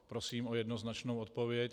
Prosím o jednoznačnou odpověď.